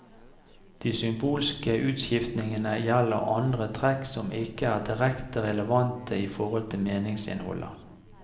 De symbolske utskiftningene gjelder andre trekk som ikke er direkte relevante i forhold til meningsinnholdet.